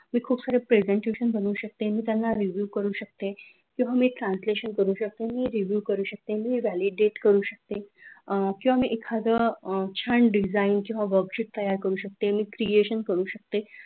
मी खूप सारे presentation बनवू शकते मी त्यांना review करू शकते किंवा मी translation करू शकते मी review करू शकते मी validate करू शकते अह किंवा मी एखाद छान design किंवा worksheet तयार करू शकते मी creation करू शकते